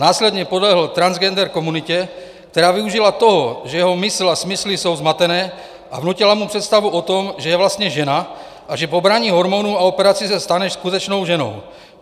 Následně podlehl transgender komunitě, která využila toho, že jeho mysl a smysly jsou zmatené, a vnutila mu představu o tom, že je vlastně žena a že po braní hormonů a operaci se stane skutečnou ženou.